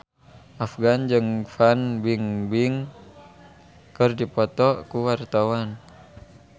Afgan jeung Fan Bingbing keur dipoto ku wartawan